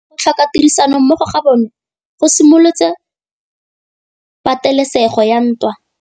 Go tlhoka tirsanommogo ga bone go simolotse patêlêsêgô ya ntwa.